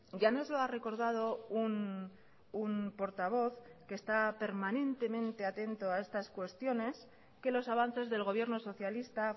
ya nos lo ha recordado un portavoz que está permanentemente atento a estas cuestiones que los avances del gobierno socialista